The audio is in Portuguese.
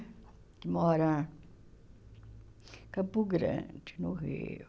Que mora em Campo Grande, no Rio.